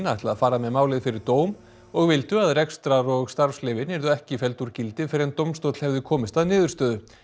ætla að fara með málið fyrir dóm og vildu að rekstrar og starfsleyfin yrðu ekki felld úr gildi fyrr en dómstóll hefði komist að niðurstöðu